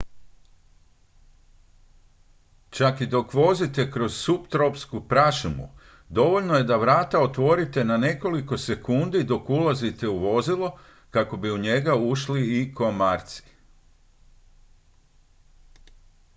čak i dok vozite kroz suptropsku prašumu dovoljno je da vrata otvorite na nekoliko sekundi dok ulazite u vozilo kako bi u njega ušli i komarci